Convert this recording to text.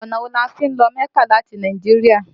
Ọ̀nà wo ni a fi ń lọ mẹ́kà láti Nàìjíríà?